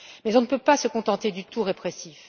Mais on ne peut pas se contenter du tout répressif.